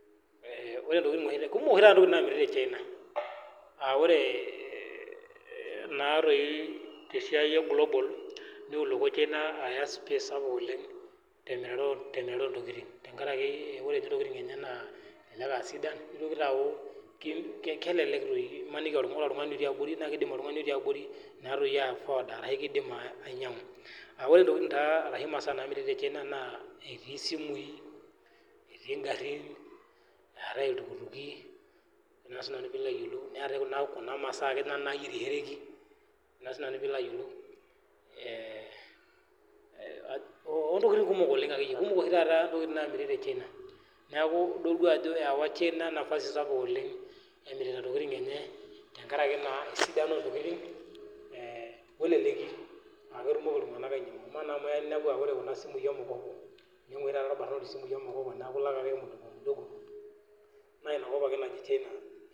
Kumok oshi tata ntokitin namiri tee China aa ore tesiai ee global niwuloko china aya space sapuk temurata oo ntokitin tenkaraki ore entokitin enye naa kelelek doi emaniki aa ore oltung'ani otii abori naakidim ainyiang'u ore masaa namiri tee china naa simui, garin, iltukutuki neetae Kuna masaa nayierishoreki kumok oshi taata ntokitin namiri tee china neeku edol Ajo ewa china nafasi sapuk oleng kemirita entokitin tenkaraki esidano wee leleki amu keya ninepu Kuna simu mkopo enyiang oshi taata erbarnot esimui mkopo neeku elaki ake mdogo mdogo naa enakop ake ee china